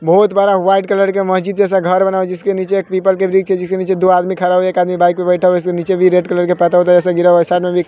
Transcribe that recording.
बहोत बड़ा white colour के मस्जिद जैसा घर बना है जिसके नीचे एक पीपल के वृक्ष है जिसके नीचे दो आदमी खड़ा हुआ एक आदमी बाइक पे बैठा हुआ उसके नीचे भी रेड कलर का परदा ओरदा जैसे गिरा हुआ साइड में भी --